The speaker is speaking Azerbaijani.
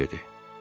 Ejen dedi: